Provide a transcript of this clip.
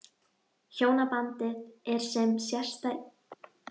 Hjónabandið er sem sé í besta lagi?